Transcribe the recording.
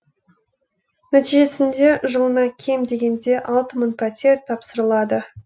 нәтижесінде жылына кем дегенде алты мың пәтер тапсырылады